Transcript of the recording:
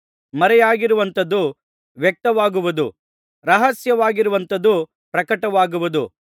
ಮರೆಯಾಗಿರುವಂಥದ್ದು ವ್ಯಕ್ತವಾಗುವುದು ರಹಸ್ಯವಾಗಿರುವಂಥದ್ದು ಪ್ರಕಟವಾಗುವುದು